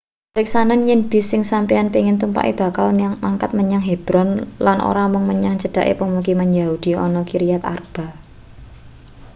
priksanen yen bis sing sampeyan pengin tumpake bakal mangkat menyang hebron lan ora mung menyang cedhake pemukiman yahudi ana kiryat arba